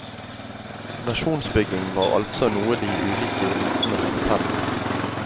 Nasjonsbygging var altså noe de ulike elitene hadde felles.